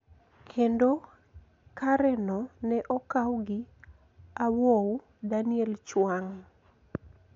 Kendo kareno ne okaw gi Awow Daniel Chuang.